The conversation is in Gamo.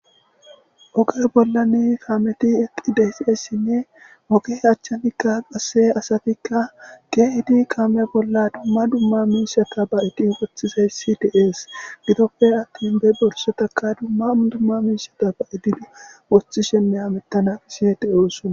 Oger bollani kaameti eqqi deysieessinne moke achchanikka qasse asatikka geehdi kaame bolla dumma dumma miisa ta ba7eddi woththisayssi deees gidoppe attin be bolsotaka dumma dumma miisha ta ba7eddidu wothi shenne hamettana iseede oossona.